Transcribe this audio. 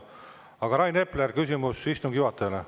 Aga Rain Epler, küsimus istungi juhatajale.